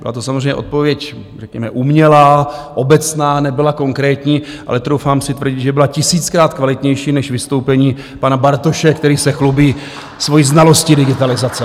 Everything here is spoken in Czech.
Byla to samozřejmě odpověď řekněme umělá, obecná, nebyla konkrétní, ale troufám si tvrdit, že byla tisíckrát kvalitnější než vystoupení pana Bartoše, který se chlubí svojí znalostí digitalizace.